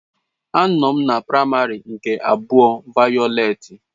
Anọm na práịmary nke abụa vayọleti